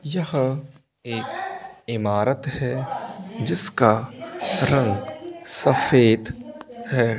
यह एक ईमारत है जिसका रंग सफेद है।